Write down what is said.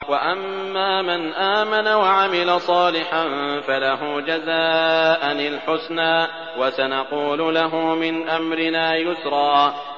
وَأَمَّا مَنْ آمَنَ وَعَمِلَ صَالِحًا فَلَهُ جَزَاءً الْحُسْنَىٰ ۖ وَسَنَقُولُ لَهُ مِنْ أَمْرِنَا يُسْرًا